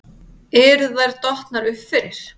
Eru þær dottnar upp fyrir?